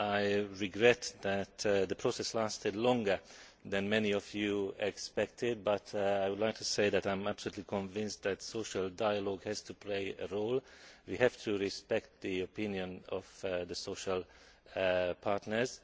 I regret that the process lasted longer than many of you expected, but I would like to say that I am absolutely convinced that social dialogue has to play a role we have to respect the opinion of the social partners.